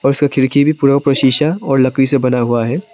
और उसका खिड़की भी पूरा ऊपर शीशा और लकड़ी से बना हुआ है।